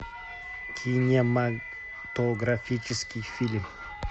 кинематографический фильм